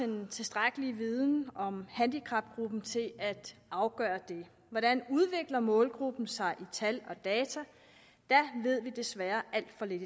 den tilstrækkelige viden om handicapgruppen til at afgøre det hvordan udvikler målgruppen sig i tal og data der ved vi desværre alt for lidt